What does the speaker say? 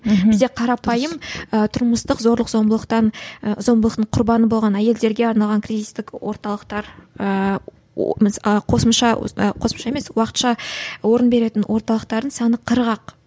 бізде қарапайым і тұрмыстық зорлық зомбылықтан ы зомбылықтың құрбаны болған әйелдерге арналған кризистік орталықтар ыыы қосымша қосымша емес уақытша орын беретін орталықтардың саны қырық ақ